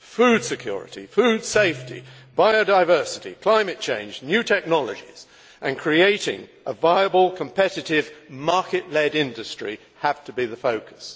Food security, food safety, biodiversity, climate change, new technologies and creating a viable, competitive market led industry have to be the focus.